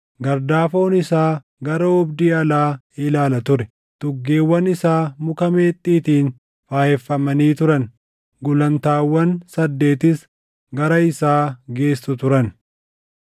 Gardaafoon isaa gara oobdii alaa ilaala ture; tuggeewwan isaa muka meexxiitiin faayeffamanii turan; gulantaawwan saddeetis gara isaa geessu turan.